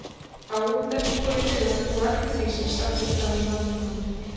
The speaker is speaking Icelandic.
Fáum dettur þó í hug að trúa öllu því sem sagt er frá í Landnámu.